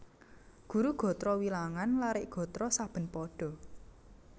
Guru gatra wilangan larik gatra saben pada